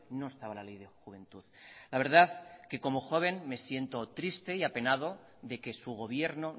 no estaba la ley de juventud la verdad que como joven me siento triste y apenado de que su gobierno